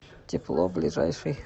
тепло ближайший